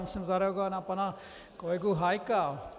Musím zareagovat na pana kolegu Hájka.